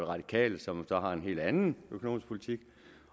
radikale som så har en helt anden økonomisk politik